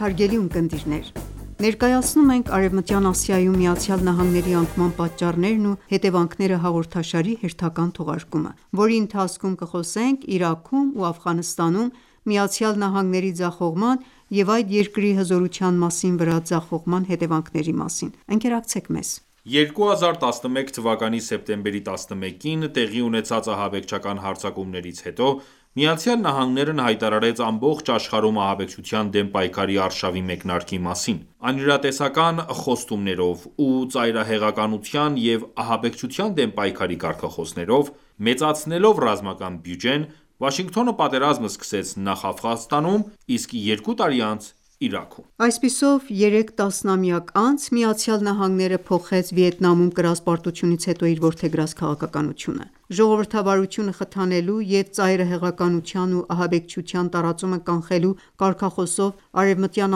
հարգելի ունկնդիրներ: Ներկայացնում ենք «Արևմտյան Ասիայում ԱՄՆ-ի անկման պատճառները» հաղորդաշարի հերթական թողարկումը, որի ընթացքում կխոսենք Իրաքում ու Աֆղանստանում ԱՄՆ-ի ձախողման ու այդ երկրի հզորւթյան անկման վրա այդ ձախողման հետևանքների մասին: 2011թ սեպտեմբերի 11-ին տեղի ունեցած ահաբեկչական հարձակումներից հետո, ԱՄՆ-ն հայտարարեց ամբողջ աշխարհում ահաբեկչության դեմ պայքարի արշավի մեկնարկի մասին: Անիրատեսական խոստումներով ու ծայրահեղականության և ահաբեկչության դեմ պայքարի կարգախոսներով, մեծացնելով ռազմական բյուջեն, Վաշինգտոնը պատերազմ սկսեց նախ Աֆղանստանում, իսկ երկու տարի անց՝ Իրաքում։ Այսպիսով, 3 տասնամյակ անց, ԱՄՆ-ն փոխեց Վիետնամում կրած պարտութունից հետո իր որգեդրած քաղաքականությունը: ժողովրդավարությունը խթանելու և ծայրահեղականության և ահաբեկչության տարածումը կանխելու կարգախոսով Արևմտյան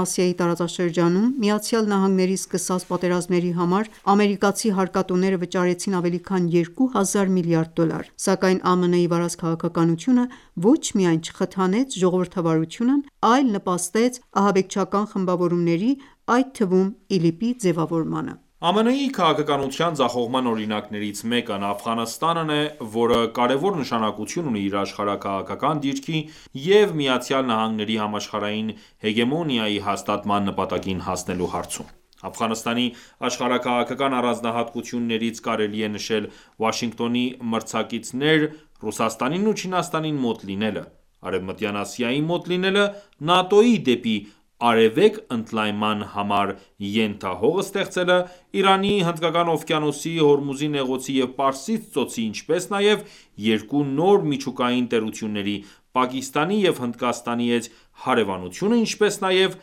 Ասիայի տարածաշրջանում ԱՄՆ-ի սկսած պատերազմների համար ամերիկացի հարկատուները վճարեցին ավելի քան երկու հազար միլիարդ դոլար: Սակայն ԱՄՆ-ի վարած քաղաքականությունը ոչ միայն չխթանեց ժողովրդավարությունն այլ նպաստեց ահաբեկչական խմբավորումների, այդ թվում՝ ԻԼԻՊ-ի ձևավորմանը: ԱՄՆ-ի քաղաքականության ձախողման օրինակներից մեկն Աֆղանստանն է, որը կարևոր նշանակություն ունի իր աշխարհաքաղաքական դիրքի և ԱՄՆ-ի համաշխարհային հեգեմոնիայի հաստատման նպատակին հասնելու հարցում: Աֆղանստանի աշխարհաքաղաքական առանձնահատկություններից կարելի է նշել Վաշինգտոնի մրցակիցներ Ռուսաստանին ու Չինաստանին մոտ լինելը, Արևմտյան Ասիային մոտ լինելը, ՆԱՏՕ-ի դեպի Արևելք ընդլայնման համար ենթահող ստեղծելը, Իրանի, Հնդկական օվկիանոսի, Հորմուզի նեղուցի և Պարսից ծոցի ինչպես նաև երկու նոր միջուկային տերությունների՝ Պակիստանի և Հնդկաստանի հետ հարևանությունը, ինչպես նաև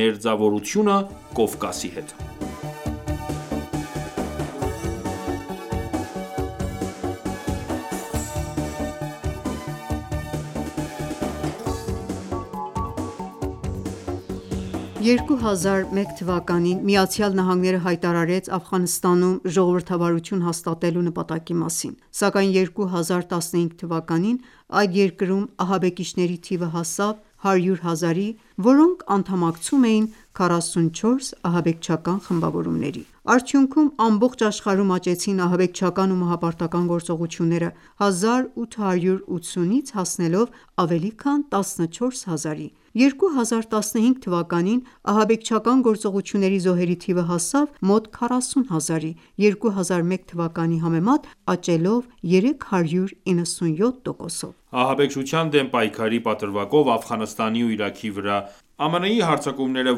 մերձավորությունը Կովկասի հետ: 2001թ. ԱՄՆ-ն հայտարարեց Աֆղանստանում ժողովրդավարություն հաստատելու նպատակի մասին, սակայն 2015թ. այդ երկրում ահաբեկիչների թիվը հասավ 100 հազարի, որոնք անդամակցում էին 44 ահաբեկչական խմբավորումների: Արդյունքում ամբողջ աշխարհում աճեցին ահաբեկչական ու մահապարտական գործողությունները, 1880-ից հասնելով ավելի քան 14000-ի: 2015 թվականին ահաբեկչական գործողությունների զոհերի թիվը հասավ մոտ 40 հազարի, 2001 թվականի համեմատ աճելով 397 տոկոսով։ Ահաբեկչության դեմ պայքարի պատրվակով Աֆղանստանի ու Իրաքի վրա ԱՄՆ-ի հարձակումները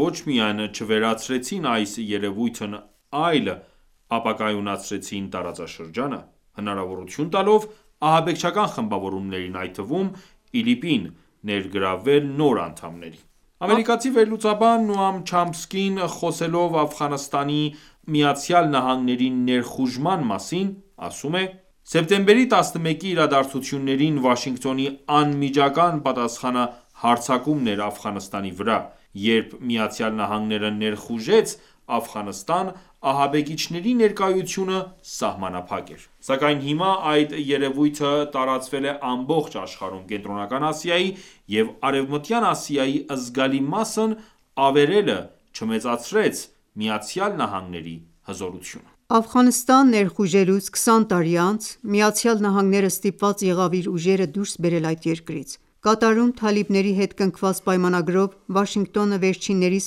ոչ միայն չվերացրեցին այս երևույթն այլ ապակայունացրեցին տարածաշրջանը, հնարավորություն տալով ահաբեկչական խմբավորումներին, այդ թվում՝ ԻԼԻՊ-ին ներգրավել նոր անդամների: Ամերիկացի վերլուծաբան Նոամ Չամսկին, խոսելով Աֆղանստան ԱՄՆ-ի ներխուժման մասին, ասում է. «Սեպտեմբերի 11-ի իրադարձություններին Վաշինգտոնի անմիջական պատասխանը հարձակումն էր Աֆղանստանի վրա։ Երբ ԱՄՆ-ն ներխուժեց Աֆղանստան, ահաբեկիչների ներկայությունը սահմանափակ էր: Սակայն հիմա այդ երևույթը տարածվել է ամբողջ աշխարհում: Կենտրոնական Ասիայի և Արևմտյան Ասիայի զգալի մասն ավերելը չմեծացրեց ԱՄՆ-ի հզորությունը»։ Աֆղանստան ներխուժելուց 20 տարի անց, ԱՄՆ-ն ստիպված եղավ իր ուժերը դուրս բերել այդ երկրից: Կատարում թալիբների հետ կնքված պայամանագրով, Վաշինգտոնը վերջիններիս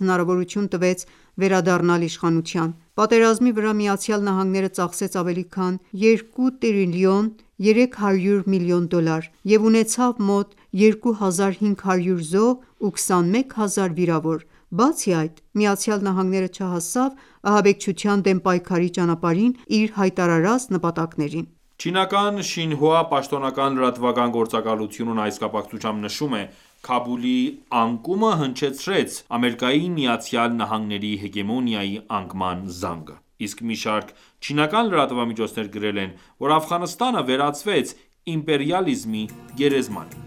հանրավորություն տվեց վերադառնալ իշխանության: Պատերազմի վրա ԱՄՆ-ն ծախսեց ավելի քան 2,3 տրիլիոն դոլար, և ունեցավ մոտ 2500 զոհ ու 21 հազար վիրավոր: Բացի այդ, Միացյալ Նահանգները չհասավ ահաբեկչության դեմ պայքարի ճանապարհին իր հայտարարած նպատակներին: Չինական «Շին Հուա» պաշտոնական լրատվական գործակալությունն այս կապակցությամբ նշում է. «Քաբուլի անկումը հնչեցրեց ԱՄՆ-ի հեգեմոնիայի անկման զանգը»: Իսկ մի շարք չինական լրատվամիջոցներ գրել են, որ Աֆղանստանը վերածվեց «իմպերիալիզմի գերեզմանի»: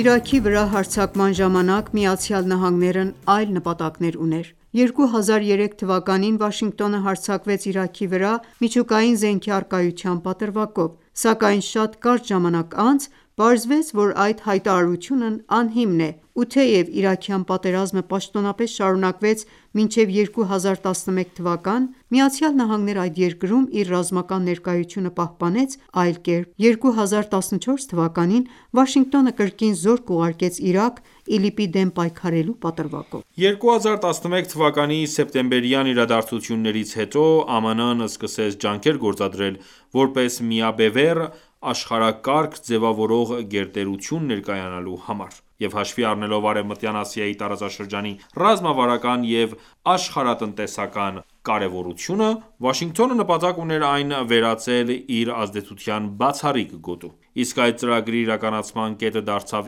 Իրաքի վրա հարձակման ժամանակ ԱՄՆ-ն այլ նպատակներ ուներ: 2003թ Վաշինգտոնը հարձակվեց Իրաքի վրա՝ միջուկային զենքի առկայության պատրվակով: Սակայն շատ կարճ ժամանակ անց պարզվեց, որ այդ հայտարարությունն ահիմն է: Ու թեև իրաքյան պատերազմը պաշտոնապես շարունակվեց մինչև 2011թ., ԱՄՆ-ն այդ երկրում իր ռազմական ներկայությունը պահպանեց այլ կերպ: 2014թ. Վաշինգտոնը կրկին զորք ուղարկեց Իրաք՝ ԻԼԻՊ-ի դեմ պայքարելու պատրվակով: 2011թ սեպտեմբերյան իրադարձություններից հետո ԱՄՆ-ն սկսեց ջանքեր գործադրել՝ որպես միաբևեռ աշխարհակարգ ձևավորող գերտերություն ներկայանալու համար: Եվ հաշվի առնելով Արևմտայն Ասիայի տարածաշրջանի ռազմավարական և աշխարհատնտեսական կարևորությունը, Վաշինգտոնը նպատակ ուներ այն վերածել իր ազդեցության բացառիկ գոտու: Իսկ այդ ծրագրի իրականացման կետը դարձավ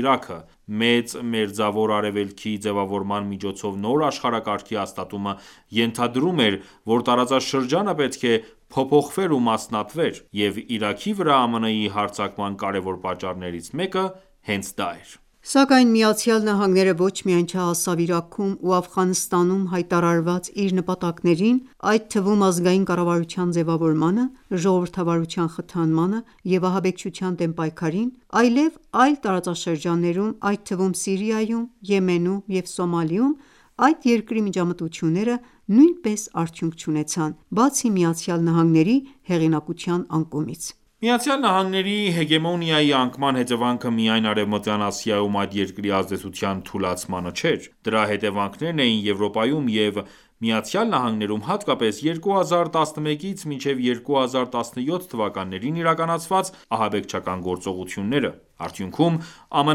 Իրաքը: «Մեծ մերձավոր Արևելքիի ձևավորման միջոցով նոր աշխարհակարգի հաստատումը ենթադրում էր, որ տարածաշրջանը պետք է փոփոխվեր ու մասնատվեր: Եվ Իրաքի վրա ԱՄՆ-ի հարձակման կարևոր պատճառներից մեկը հենց դա էր: Սակայն ԱՄՆ-ն ոչ միայն չհասավ Իրաքում ու Աֆղանստանում հայտարարված իր նպատակներին, այդ թվում՝ ազգային կառավարության ձևավորմանը, ժողովրդավարության խթանմանը, և ահաբեկչության դեմ պայքարին, այլև այլ տարածաշրջաններում, այդ թվում՝ Սիրիայում, Եմենում և Սոմալիում այդ երկրի միջամտությունները նույնպես արդյունք չունեցան, բացի ԱՄՆ-ի հեղինակության անկումից: ԱՄՆ-ի հեգեմոնիայի անկման հետևանքը միայն Արևմտյան Ասիայում այդ երկրի ազդեցության թուլացումը չէր: Դրա հետևանքներն էին Եվրոպայում և ԱՄՆ-ում հատկապես 2011-ից 2017թթ իրականացված ահաբեկչական գործողությունները: Արդյունքում ԱՄՆ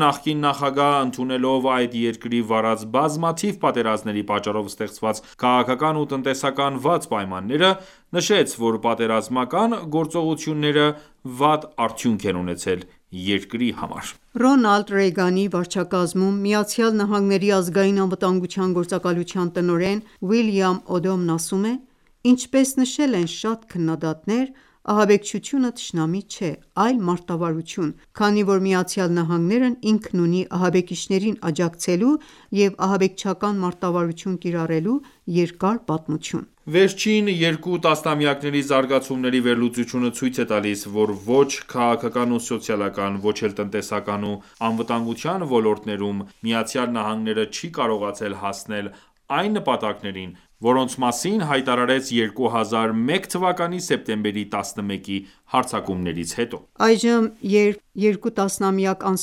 նախկին նախագահն ընդունելով այդ երկրի վարած բազմաթիվ պատերազմների պատճառով ստեղծված քաղաքական և տնտեսական վատ պայմանները, նշեց, որ պատերազմական գործողությունները վատ արդյունք են ունեցել երկրի համար: Ռոնալդ Ռեյգանի վարչակազմում ԱՄՆ Ազգային անվտանգության գործակալության տնօրեն Ուիլյամ Օդոմն ասում է. «Ինչպես նշել են շատ քննադատներ, ահաբեկչությունը թշնամի չէ, այլ մարտավարություն, քանի որ ԱՄՆ-ն ինքն ունի ահաբեկիչներին աջակցելու և ահաբեկչական մարտավարություն կիրառելու երկար պատմություն»: Վերջին երկու տասնամյակների զարգացումների վերլուծությունը ցույց է տալիս, որ ոչ քաղաքական ու սոցիալական, ոչ էլ տնտեսական ու անվտանգության ոլորտներում ԱՄՆ-ն չի կարողացել հասնել այն նպատակներին, որոնց մասին հայտարարեց 2001 թվականի սեպտեմբերի 11-ի հարձակումներից հետո: Այժմ, երկու տասնամյակ անց,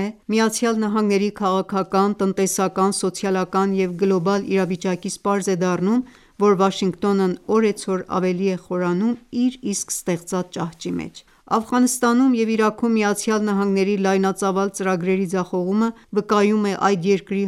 ԱՄՆ-ի քաղաքական, տնտեսական, սոցիալական և գլոբալ իրավիճակից պարզ է դառնում, որ Վաշինգտոնն օրեցօր ավելի է խորանում իր իսկ ստեղծած ճահճի մեջ։ Աֆղանստանում և Իրաքում ԱՄՆ-ի լայնածավալ ծրագրերի ձախողումը վկայում է այդ երկրի